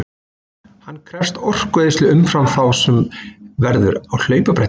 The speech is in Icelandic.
Hann krefst orkueyðslu umfram þá sem verður á hlaupabretti.